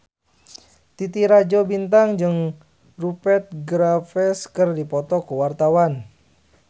Titi Rajo Bintang jeung Rupert Graves keur dipoto ku wartawan